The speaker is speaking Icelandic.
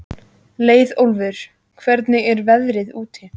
Leiðólfur, hvernig er veðrið úti?